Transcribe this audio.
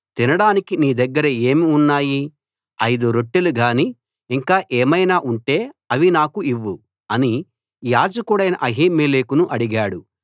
తినడానికి నీ దగ్గర ఏం ఉన్నాయి ఐదు రొట్టెలు గానీ ఇంకా ఏమైనా ఉంటే అవి నాకు ఇవ్వు అని యాజకుడైన అహీమెలెకును అడిగాడు